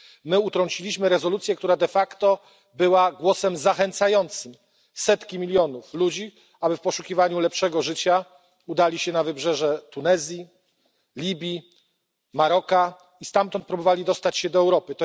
My utrąciliśmy rezolucję, która de facto była głosem zachęcającym setki milionów ludzi, aby w poszukiwaniu lepszego życia udali się na wybrzeże Tunezji, Libii, Maroka i stamtąd próbowali dostać się do Europy.